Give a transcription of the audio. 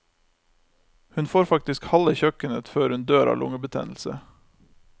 Hun får faktisk halve kjøkkenet før hun dør av lungebetennelse.